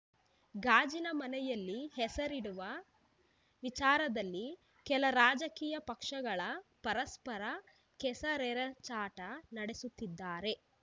ಗಾಜಿನ ಮನೆಗೆ ಹೆಸರಿಡುವ ವಿಚಾರದಲ್ಲಿ ಕೆಲ ರಾಜಕೀಯ ಪಕ್ಷಗಳ ಪರಸ್ಪರ ಕೆಸರೆರಚಾಟ ನಡೆಸುತ್ತಿದ್ದಾರೆ